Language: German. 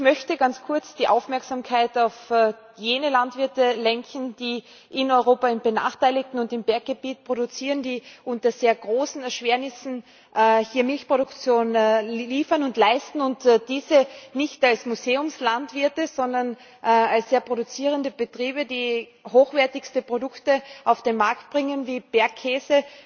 Ich möchte ganz kurz die Aufmerksamkeit auf jene Landwirte lenken, die in Europa in benachteiligten Gebieten und im Berggebiet produzieren, die unter sehr großen Erschwernissen Milchproduktion liefern und leisten, und dies nicht als Museumslandwirte, sondern als sehr produzierende Betriebe, die hochwertigste Produkte auf den Markt bringen wie Bergkäse,